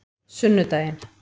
sunnudaginn